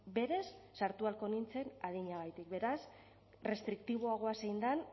berez sartu ahalko nintzen adinagatik beraz restriktiboagoa zein den